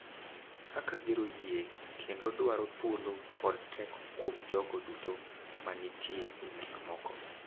Kaka gero yie kendo dwaro thuolo kod teko kuom jogo duto ma nitie e gik moko.